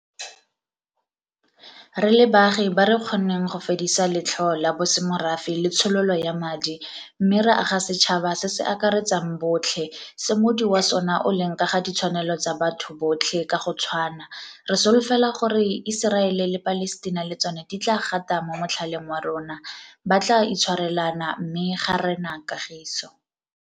Re le baagi ba re kgonneng go fedisa letlhoo la bosemorafe le tshololo ya madi mme ra aga setšhaba se se akaretsang botlhe se moodi wa sona o leng ka ga ditshwanelo tsa batho botlhe ka go tshwana, re solofela gore Iseraele le Palestina le tsona di tla gata mo motlhaleng wa rona, ba tla itshwarelana mme ga rena kagiso.